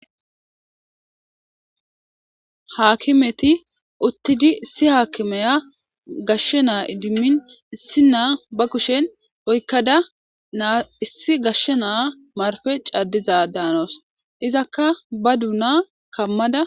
Haakimeti uttidi, issi haakimiya gashshe naa idimmin issi naa ba kushen oykkada naa issi gashshe naa marpee caaddizadan hanawusu. izakka ba donna kammada.